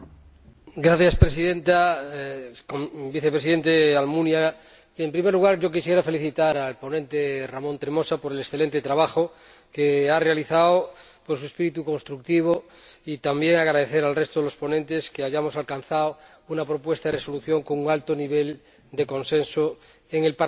Señora Presidenta, señor Vicepresidente Almunia, en primer lugar, yo quisiera felicitar al ponente, Ramon Tremosa, por el excelente trabajo que ha realizado y por su espíritu constructivo, así como también agradecer al resto de los ponentes que hayamos alcanzado una propuesta de Resolución con un alto nivel de consenso en el Parlamento.